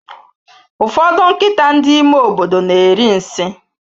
Ụfọdụ nkịta ndị ime obodo na eri nsị